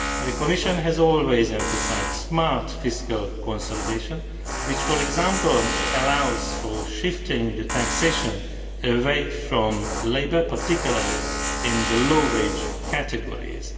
But the Commission has always emphasised smart fiscal consolidation which, for example, allows for shifting taxation away from labour, particularly in the low wage categories.